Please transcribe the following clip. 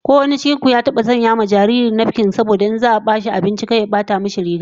Ko wanin cikin ku ya taba sanya wa jariri nafkin in za'a bashi abinci, saboda kar abinci ya bata nasa riga?